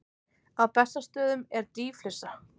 Á Bessastöðum er dýflissa.